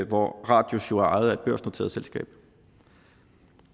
hvor radius jo er ejet af et børsnoteret selskab